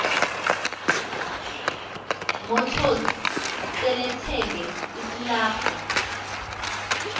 motors selethenge isilarha